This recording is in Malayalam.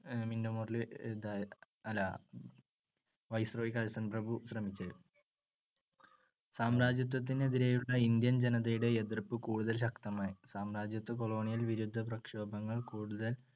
മിൻറ്റോ മോർലി ഇത് അല്ല viceroy കഴ്സൺ പ്രഭു ശ്രമിച്ചത്. സാമ്രജ്യത്വത്തിന് എതിരെയുള്ള ഇന്ത്യൻ ജനതയുടെ എതിർപ്പ് കൂടുതൽ ശക്തമായി. സാമ്രാജ്യത്തു colonial വിരുദ്ധപ്രക്ഷോഭങ്ങൾ കൂടുതൽ